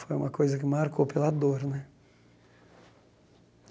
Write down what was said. Foi uma coisa que marcou pela dor né.